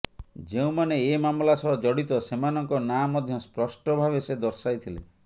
ଯେଉଁମାନେ ଏ ମାମଲା ସହ ଜଡ଼ିତ ସେମାନଙ୍କ ନାଁ ମଧ୍ୟ ସ୍ପଷ୍ଟ ଭାବେ ସେ ଦର୍ଶାଇଥିଲେ